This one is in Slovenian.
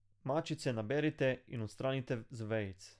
Mačice naberite in odstranite z vejic.